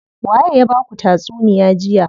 Waye ya baku tatsuniya jiya.